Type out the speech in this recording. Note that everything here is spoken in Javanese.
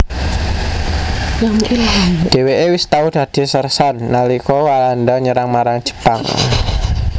Dhèwèké wis tau dadi sérsan nalika Walanda nyerah marang Jepang